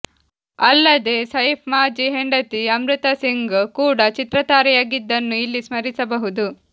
ಅಲ್ಲದೆ ಸೈಫ್ ಮಾಜಿ ಹೆಂಡತಿ ಅಮೃತಾಸಿಂಗ್ ಕೂಡ ಚಿತ್ರತಾರೆಯಾಗಿದ್ದನ್ನೂ ಇಲ್ಲಿ ಸ್ಮರಿಸಬಹುದು